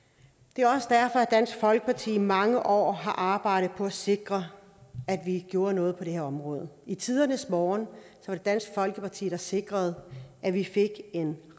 det er også derfor at dansk folkeparti i mange år har arbejdet på at sikre at vi gjorde noget på det her område i tidernes morgen var det dansk folkeparti der sikrede at vi fik en